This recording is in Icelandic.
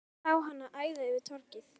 Ég sá hana æða yfir torgið.